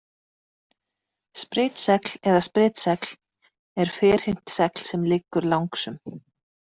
Spritsegl eða sprytsegl er ferhyrnt segl sem liggur langsum.